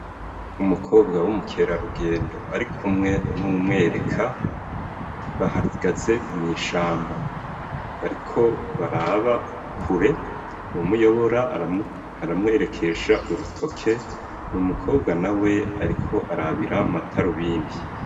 Umukobwa w'umukera rugendo ari kumwe n'umwereka bahagaze mw'ishamba bariko baraba kure mumuyobora aramwerekesha urutoke mu mukobwa na we, ariko arabira mataro bindi.